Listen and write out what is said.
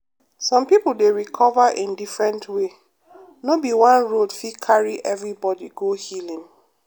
some people dey recover in different way no be one road fit carry everybody go healing.